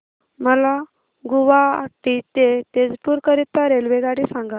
मला गुवाहाटी ते तेजपुर करीता रेल्वेगाडी सांगा